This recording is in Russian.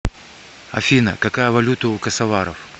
афина какая валюта у косоваров